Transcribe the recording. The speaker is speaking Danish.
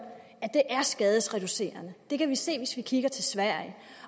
at det er skadesreducerende det kan vi se hvis vi kigger til sverige